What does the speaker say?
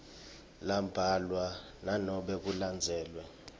lambalwa nanobe kulandzelwe